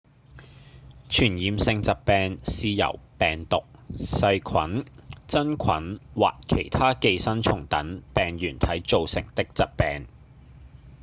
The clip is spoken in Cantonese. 傳染性疾病是由病毒、細菌、真菌或其他寄生蟲等病原體造成的疾病